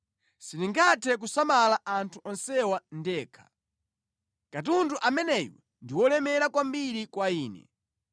Sindingathe kusamala anthu onsewa ndekha. Katundu ameneyu ndi wolemera kwambiri kwa ine.